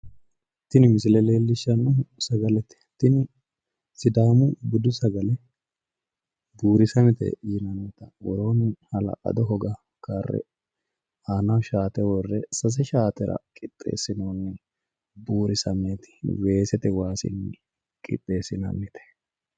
Tini misile leellishshannohu sagalete tini sidaamu budu sagale buurisamete yinannita ikkitanna woroonni jawa hoga karre aanaho sase shaafeetara qixxeesinoonni shaafeetaati weesete waasinni qixxeesinoonnite.